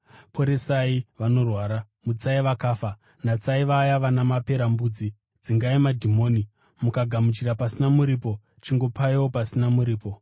Poresai vanorwara, mutsai vakafa, natsai vaya vana maperembudzi, dzingai madhimoni. Makagamuchira pasina muripo, chingopaiwo pasina muripo.